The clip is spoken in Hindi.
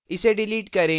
इसे डिलीट करें